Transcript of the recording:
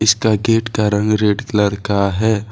इसका गेट का रंग रेड कलर का है।